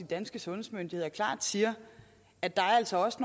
danske sundhedsmyndigheder klart siger at der altså også